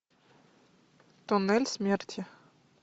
туннель смерти